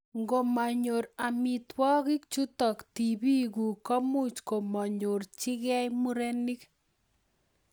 Ngomanyor amitwogik chutok tibik guk komuch komakonyorchikeimurenik.